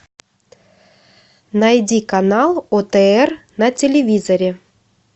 найди канал отр на телевизоре